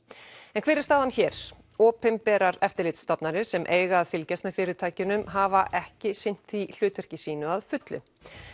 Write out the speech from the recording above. en hver er staðan hér opinberar eftirlitsstofnanir sem eiga að fylgjast með fyrirtækjunum hafa ekki sinnt því hlutverki sínu að fullu